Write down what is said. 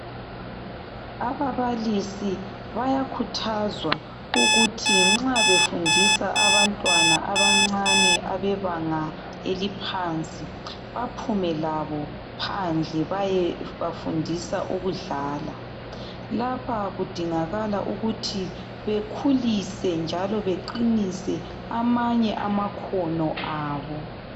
Ababalisi bayakhuthazwa ukuthi nxa befundisa abantwana abancane abebanga eliphansi, baphume labo phandle bayebafundisa ukudlala. Lapha kudingakala ukuthi bekhulise njalo baqinise amanye amakhono abo.